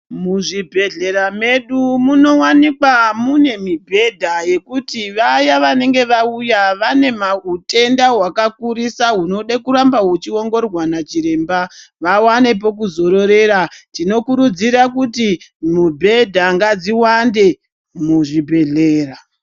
Muzvi bhehlera medu munovanikwa mune mubhedha yekuti vaya vanenge vauya vane hutenda hakakurisa hunode kuramba huchi ongororwa nachiremba, vavane pokuzororera .Tino kurudzira kuti mubhedha ngadziwande muzvi bhedhera.